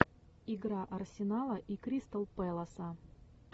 игра арсенала и кристал пэласа